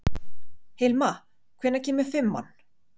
Hilma, hvenær kemur fimman?